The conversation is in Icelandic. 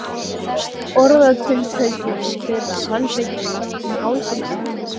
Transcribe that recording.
Orðatiltækjunum þeirra, handleggjunum um hálsinn á mömmu sinni.